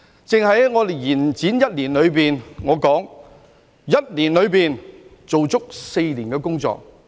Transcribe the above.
在延展的一年內，我說我們在1年內做足4年的工作。